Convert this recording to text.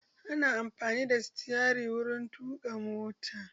Ana amfani da sitarin wuri tuƙa mota